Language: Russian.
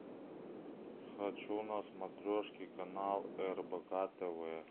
хочу на смотрешке канал рбк тв